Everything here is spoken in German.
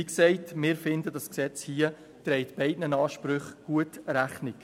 Wie gesagt – wir finden, dieses Gesetz trägt beiden Ansprüchen gut Rechnung.